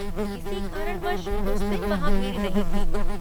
किसी कारणवश उस दिन वहाँ भीड़ नहीं थी।